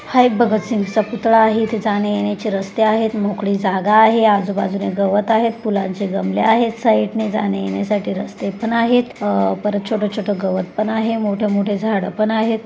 हा एक भगतसिंगच पुतळा आहे तिथ आणे जाने चे रास्ते आहे मोकळी जागा आहे आजूबाजूला गवत आहे फुलांचे गमले आहेत साइडने जाने येणेसाठी रस्ते पण आहेत अ परत छोटे छोटे गवत पण आहेत मोट मोठ झाड पण आहेत.